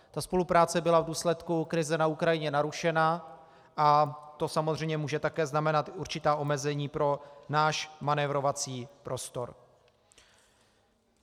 Ta spolupráce byla v důsledku krize na Ukrajině narušena a to samozřejmě může také znamenat určitá omezení pro náš manévrovací prostor.